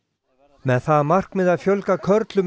með það að markmiði að fjölga körlum í